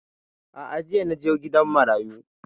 A'a jiya na je gidan marayu